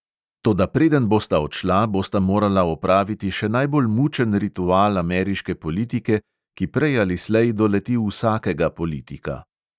Toda preden bosta odšla, bosta morala opraviti še najbolj mučen ritual ameriške politike, ki prej ali slej doleti vsakega politika.